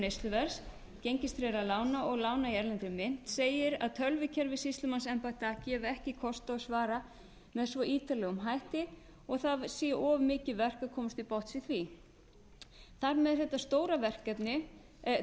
neysluverðs gengistryggðra lána og lána í erlendri mynt segir að tölvukerfi sýslumannsembætta gefi ekki kost á að svara með svo ítarlegum hætti og að það væri of mikið verk að komast til botns í því þar sem þetta stóra verkefni